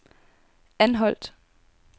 Anholt